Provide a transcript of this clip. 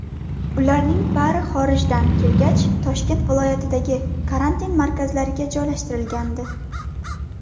Ularning bari xorijdan kelgach, Toshkent viloyatidagi karantin markazlariga joylashtirilgandi.